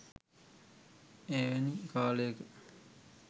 එවැනි කාලයක